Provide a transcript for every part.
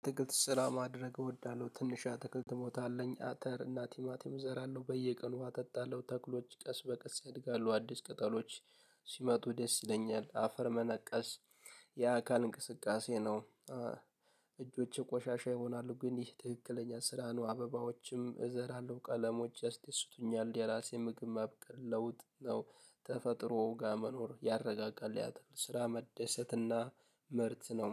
አትክል ስራ ማድረግ እወዳለሁ ትንሽ ትክክል ትሞታለኝ አተር እናቲማቲም እዘራለሁ በየቀኑ ውሃ እጠጣለሁ ተክሎች ቀስ በቀስ ያድጋሉ አዲስ ቅጠሎች ሲመጡ ደስ ይለኛል አፈር መነቀስ የአካል እንቅስቃሴ ነው። እጆቼ ቆሻሻ ይሆናሉ ግን ይህ ትክክለኛ ስራ ነው አበባዎችም እዘራለሁ ቀለሞች ያስ ደሱቱኛል የራሲ ምግብ ማብቀል ለውጥ ነው። ተፈጥሮ ጋር መኖር ያረጋጋል ያአትክልት ስራ መደሰትና ምርት ነው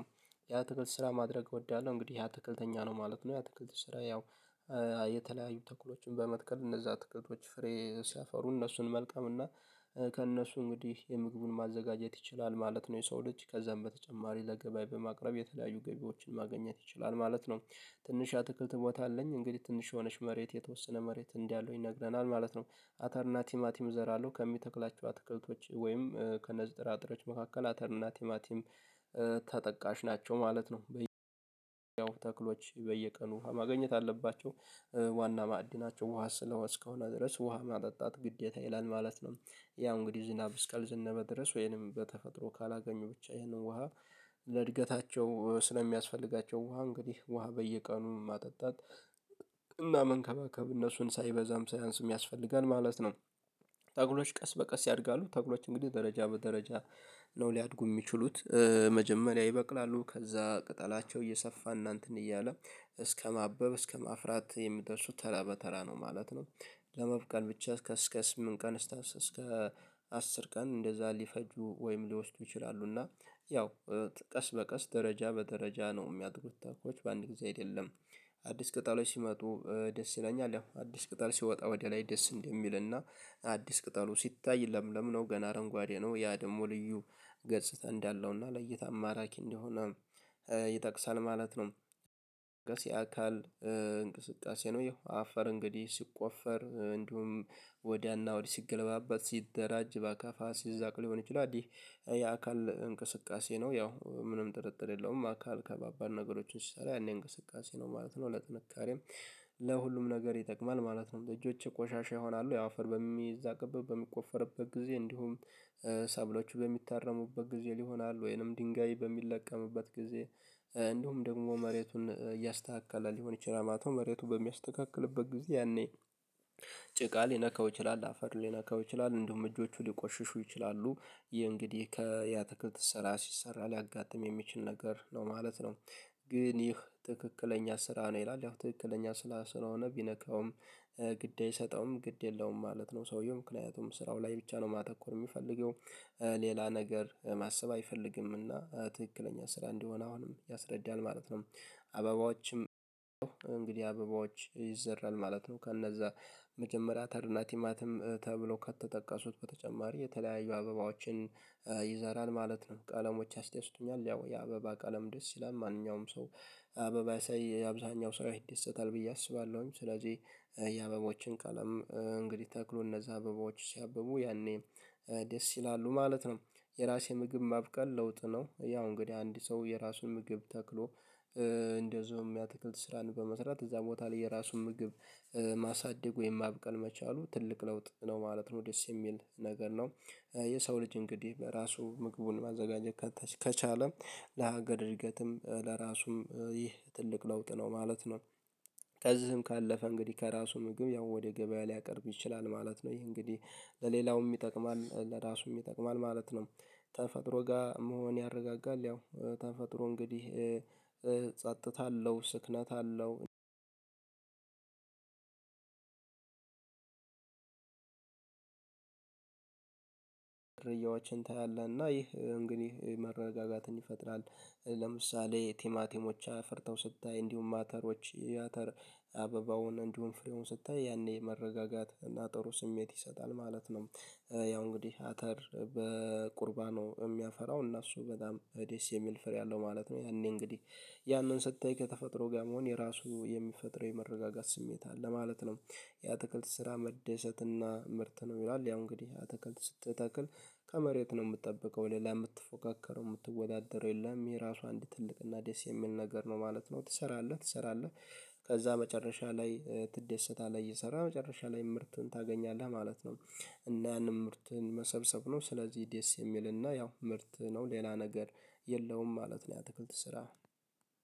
ያ ትክልት ስራ ማድረግ እወዳለሁ። እንግዲህ ያ ትክልተኛ ነው ማለት ነው። ያ ትክልት ስራ ያው የተለያዩ ተኩሎችን በመትከል እነዛ ትክልቶች ፍሬ ሲያፈሩ እነሱን መልቀም እና ከእነሱ እንግዲህ የምግቡን ማዘጋጀት ይችላል ማለት ነው። የሰው ልጅ ከዛም በተጨማሪ ለገበያ በማቅረብ የተለያዩ ገቢዎችን ማግኘት ይችላል ማለት ነው። ትንሽ አትክልት ቦታ አለኝ እንግዲህ ትንሽ የሆነች መሬት የተወሰነ መሬት እንዲህ አለው ይነግረናል ማለት ነው። አተር ናቲማቲም እዘራለሁ ከሚተክላቸው አትክልቶች ወይም ከነዚጥራጥሮች መካከል አተር እና ቲማቲም ተጠቃሽ ናቸው ማለት ነው። ተክሎች በየቀኑ ውሃ ማግኘት አለባቸው ዋና ማዕድናቸው ውሃ ስለውሃት እስከሆነ ድረስ ውሃ ማጠጣት ግዴታ ይላል ማለት ነው። ያ እንግዲህ ዝናብ ስካል ዘነበ ድረስ ወይንም በተፈጥሮ ካላገኙ ብቻ ይሄንን ውሃ ለእድገታቸው ስለሚያስፈልጋቸው ውሃ እንግዲህ ውሃ በየቀኑ ማጠጣት እና መንከባከብ እነሱን ሳይበዛም ሳይአንስም ያስፈልጋል ማለት ነው። ተክሎች ቀስ በቀስ ያድጋሉ ተክሎች እንግዲህ ደረጃ በደረጃ ነው ሊያድጉ የሚችሉት። መጀመሪያ ይበቅላሉ ከዛ ቅጠላቸው እየሰፋ እናንተን እያለ እስከማበብ እስከማፍራት የምትወርሱት ተራ በተራ ነው ማለት ነው። ለመብቃል ብቻ ከእስከ ስምንት ቀን እስከ አስር ቀን እንደዛ ሊፈጁ ወይም ሊወስዱ ይችላሉ። እና ያው ቀስ በቀስ ደረጃ በደረጃ ነው የሚያደርጉት ተክሎች በአንድ ጊዜ አይደለም። አዲስ ቅጠሎች ሲመጡ ደስ ይለኛል ያ አዲስ ቅጠል ሲወጣ ወደ ላይ ደስ እንደሚልና አዲስ ቅጠሉ ሲታይ ለምን ነው ገና አረንጓዴ ነው ያ ደግሞ ልዩ ገጽታ እንዳለውና ለይታ አማራኪ እንደሆነ ይጠቅሳል ማለት ነው። የአካል እንቅስቃሴ ነው ያው አፈር እንግዲህ ሲቆፈር እንዲሁም ወዲያና እና ወዲህ ሲገለባባት ሲደራጅ ባካፋ ሲዛቅ ሊሆን ይችላል አዲ የአካል እንቅስቃሴ ነው ያው ምንም ጥርጥር የለውም አካል ከባባድ ነገሮችን ሲሰራ ያኔ እንቅስቃሴ ነው ማለት ነው። ለጥንካሬም ለሁሉም ነገር ይጠቅማል ማለት ነው። እጆቼ ቆሻሻ ይሆናሉ ያው አፈር በሚዛቅብብ በሚቆፈርበት ጊዜ እንዲሁም ሰብሎቹ በሚታረሙበት ጊዜ ሊሆናል ወይንም ድንጋይ በሚለቀምበት ጊዜ እንደውም ደግሞ መሬቱን እያስተካከላል ይችላል ማለትነው። መሬቱ በሚያስተካክልበት ጊዜ ያኔ ጭቃ ሊነካው ይችላል አፈር ሊነካው ይችላል እንደውም እጆቹ ሊቆሽሹ ይችላሉ ይሄ እንግዲህ ከያተክለት ስራ ሲሰራ ሊያጋጥም የሚችል ነገር ነው ማለት ነው። ግን ይህ ትክክለኛ ስራ ነው ይላል ያው ትክክለኛ ስራ ስለሆነ ቢነካውም ግድ አይሰጠውም ግድ የለውም ማለት ነው። ሰውየውም ምክንያቱም ስራው ላይ ብቻ ነው ማተኮር የሚፈልገው ሌላ ነገር ማሰብ አይፈልግምና ትክክለኛ ስራ እንዲሆን አሁንም ያስረዳናል ማለት ነው። አበባዎችም እንግዲህ አበባዎች ይዘራል ማለት ነው ከነዛ መጀመሪያ ተርናቲማትም ተብሎ ከተጠቀሱት በተጨማሪ የተለያዩ አበባዎችን ይዘራል ማለት ነው። ቀለሞች አስደሱቱኛል ያው የአበባ ቀለም ደስ ይላል ማንኛውም ሰው አበባ ሳይ አብዛኛው ሰው ይደሰታል ብዬ አስባለሁኝ ስለዚህ የአበቦችን ቀለም እንግዲህ ተክሎ እነዛ አበቦች ሲያብቡ ያኔ ደስ ይላሉ ማለት ነው። የራሴ ምግብ ማብቀል ለውጥ ነው ያው እንግዲህ አንድ ሰው የራሱን ምግብ ተክሎ እንደዚሁም ያትክልት ስራን በመስራት እዛ ቦታ ላይ የራሱን ምግብ ማሳደግ ወይም ማብቀል መቻሉ ትልቅ ለውጥ ነው ማለት ነው ደስ የሚል ነገር ነው። የሰው ልጅ እንግዲህ በራሱ ምግቡን ማዘጋጀት ከቻለ ለሀገር እድገትም ለራሱም ይህ ትልቅ ለውጥ ነው ማለት ነው። ከዚህም ካለፈ እንግዲህ ከራሱ ምግብ ያው ወደ ገበያ ሊያቀርብ ይችላል ማለት ነው። ይሄ እንግዲህ ለሌላውም ይጠቅማል ለራሱም ይጠቅማል ማለት ነው። ተፈጥሮ ጋር መሆን ያረጋጋል ያው ተፈጥሮ እንግዲህ እጸጥታለሁ ስክነት አለው ድርያዎችን ታያለህና ይህ እንግዲህ መረጋጋትን ይፈጥራል። ለምሳሌ ቲማቲሞች ፈርተው ስታይ እንዲሁም አተሮች አተር አበባውን እንዲሁም ፍሌውን ስታይ ያኔ መረጋጋት እና ጥሩ ስሜት ይሰጣል ማለት ነው። ያው እንግዲህ አተር በቁርባኑ የሚያፈራው እና እሱ በጣም ደስ የሚል ፍሬ አለው ማለት ነው። ያኔ እንግዲህ ያንን ስታይ ከተፈጥሮ ጋር መሆን የራሱ የሚፈጥር የመረጋጋት ስሜት አለ ማለት ነው። የአትክልት ስራ መደሰት እና ምርት ነው ይላል። ያው እንግዲህ ተክል ተክል ከመሬት ነው የምትጠብቀው ሌላ የምትፎካከረው የምትወዳደረው የለም የራሱ አንድ ትልቅ እና ደስ የሚል ነገር ነው ማለት ነው። ትሰራለህ ትሰራለህ ከዛ መጨረሻ ላይ ትደሰታለህ እየሰራ መጨረሻ ላይ ምርትን ታገኛለህ ማለት ነው። እና ያንን ምርትን መሰብሰብ ነው ስለዚህ ደስ የሚልና ያው ምርት ነው ሌላ ነገር የለውም ማለት ነው። የአትክልት ስራ